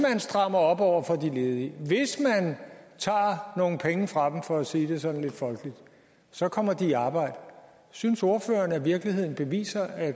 strammer op over for de ledige hvis man tager nogle penge fra dem for at sige det sådan lidt folkeligt så kommer de i arbejde synes ordføreren at virkeligheden beviser at